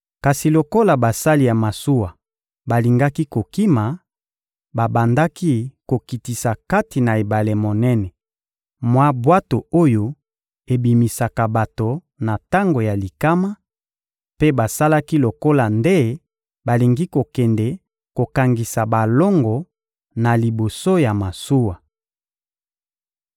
Kasi, lokola basali ya masuwa balingaki kokima, babandaki kokitisa kati na ebale monene mwa bwato oyo ebikisaka bato na tango ya likama, mpe basalaki lokola nde balingi kokende kokangisa balongo na liboso ya masuwa.